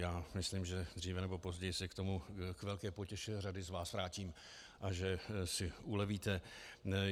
Já myslím, že dříve nebo později se k tomu k velké potěše řady z vás vrátím a že si ulevíte.